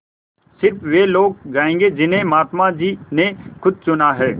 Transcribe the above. स़िर्फ वे लोग जायेंगे जिन्हें महात्मा जी ने खुद चुना है